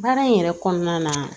Baara in yɛrɛ kɔnɔna na